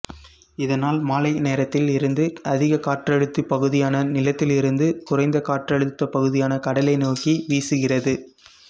இதனால் மாலை நேரத்தில் இருந்து அதிக காற்றழுத்தப் பகுதியான நிலத்தில் இருந்து குறைந்த காற்றழுத்தப் பகுதியான கடலை நோக்கி வீசுகிறது